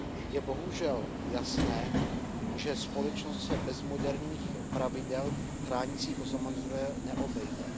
Je bohužel jasné, že společnost se bez moderních pravidel chránících oznamovatele neobejde.